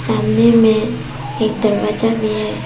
सामने में एक दरवाजा भी है।